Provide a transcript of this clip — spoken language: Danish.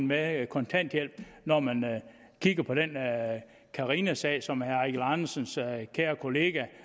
med kontanthjælp når man kigger på den carinasag som herre eigil andersens kære kollega